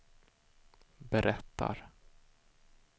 berättar